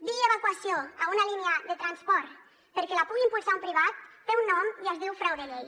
dir evacuació a una línia de transport perquè la pugui impulsar un privat té un nom i es diu frau de llei